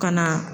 Ka na